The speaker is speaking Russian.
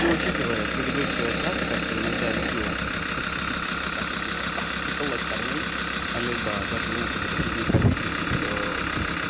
но учитывая с предыдущего что-то как-то иногда любила подцепить вот так вот типа уколоть парней а либо даже некоторых из них обидеть то